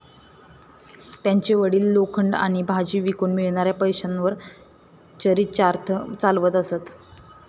त्यांचे वडील लोखंड आणि भाजी विकून मिळणाऱ्या पैशांवर चरीचार्थ चालवत असत.